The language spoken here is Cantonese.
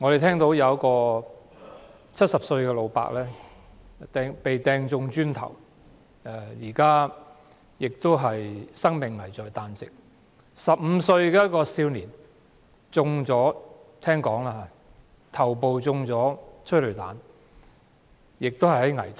據聞，一名70歲的老伯被磚塊擲中，生命危在旦夕；一名15歲青少年的頭部被催淚彈射中，情況危殆。